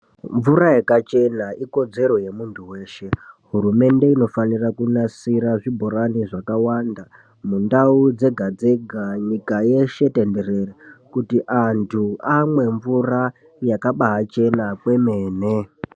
Mvura yakachena ikodzero yemuntu weshe. Hurumende inofanira kunasira zvibhorani zvakawanda mundau dzega-dzega nyika yeshe tenderere, kuti antu amwe mvura yakabachena kwemene.